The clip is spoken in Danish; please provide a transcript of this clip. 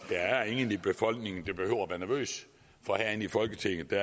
der er ingen i befolkningen der behøver at være nervøs for herinde i folketinget